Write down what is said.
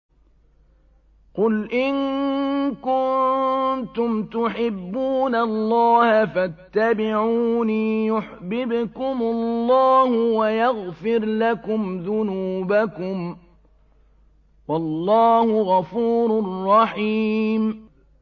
قُلْ إِن كُنتُمْ تُحِبُّونَ اللَّهَ فَاتَّبِعُونِي يُحْبِبْكُمُ اللَّهُ وَيَغْفِرْ لَكُمْ ذُنُوبَكُمْ ۗ وَاللَّهُ غَفُورٌ رَّحِيمٌ